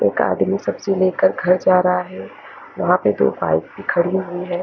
एक आदमी सब से मिल कर घर जा रहा हे वहा पर दो भी खड़ी हुयी हैं।